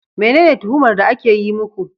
Menene tuhumar da ake yi muku